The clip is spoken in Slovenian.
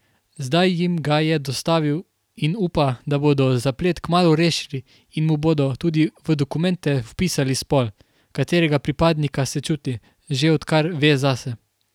Zdaj jim ga je dostavil in upa, da bodo zaplet kmalu rešili in mu bodo tudi v dokumente vpisali spol, katerega pripadnika se čuti, že odkar ve zase.